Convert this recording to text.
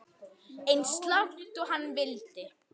Eins langt og hann vildi.